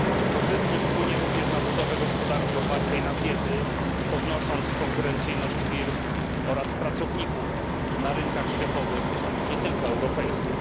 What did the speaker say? Korzystnie wpłynie również na budowę gospodarki opartej na wiedzy, podnosząc konkurencyjność firm oraz pracowników na rynkach światowych, nie tylko europejskich.